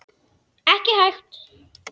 Ekki hægt.